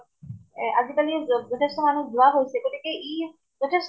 এহ আজি কালি য যথেষ্ট মানুহ হোৱা হৈছে। গতিকে ই যথেষ্ট